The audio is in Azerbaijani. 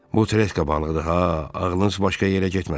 Bu treska balığıdır ha, ağlınız başqa yerə getməsin.